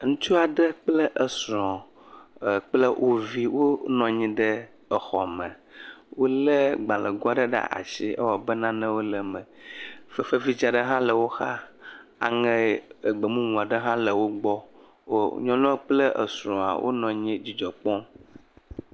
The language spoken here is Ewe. Ŋutsu aɖe kple esrɔ̃ e..kple wo vi wonɔ anyi ɖe exɔme, wolé gbalẽgo aɖe ɖe asi ewɔ abe nanewo le eme, fefe vidzi aɖe hã le woxa aŋe egbe mumu aɖewo hã le wo gbɔm nyɔnu kple esrɔ̃a wonɔ anyi le dzidzɔ kpɔm.